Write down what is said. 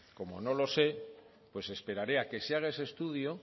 como no lo sé pues esperaré a que se haga ese estudio